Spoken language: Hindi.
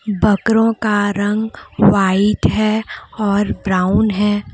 बकरों का रंग व्हाइट है और ब्राउन है।